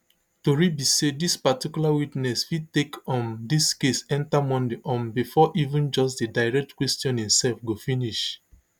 tori be say dis particular witness fit take um dis case enta monday um bifor even just di direct questioning sef go finish